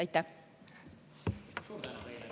Aitäh!